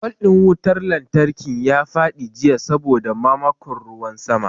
Fol ɗin wutar lantarkin ta faɗi jiya saboda mamakon ruwan sama.